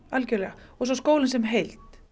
og svo skólinn sem heild